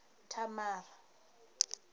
thamara